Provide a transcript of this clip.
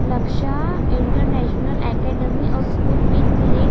लक्ष्य international academy और school भी क्लि --